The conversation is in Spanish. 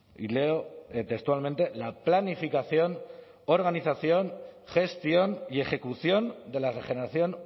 y leo textualmente la planificación organización gestión y ejecución de la regeneración